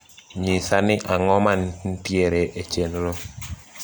nyisa ni ang`o mantiere e chenro